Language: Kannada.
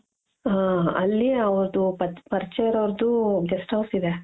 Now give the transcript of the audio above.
ಹ ಅಲ್ಲಿ ಅವ್ರ್ದು ಪರಿಚಯ ಇರೋರ್ದು guesthouse ಇದೆ .